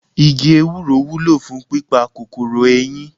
Igi Ewúro wúlò fún pípa kòkòrò eyín.